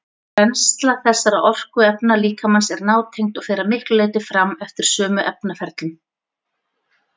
Brennsla þessara orkuefna líkamans er nátengd og fer að miklu leyti fram eftir sömu efnaferlum.